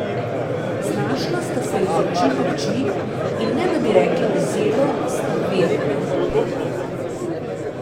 Znašla sta se iz oči v oči, in ne da bi rekla besedo, sta vedela, kdo je drugi.